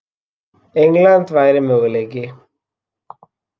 England væri möguleiki.